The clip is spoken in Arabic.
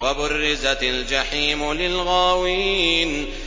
وَبُرِّزَتِ الْجَحِيمُ لِلْغَاوِينَ